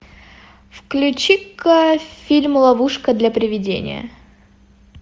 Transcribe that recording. включи ка фильм ловушка для приведения